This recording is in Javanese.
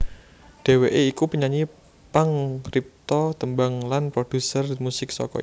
Dhèwèké iku penyanyi pangripta tembang lan prodhuser musik saka Indonésia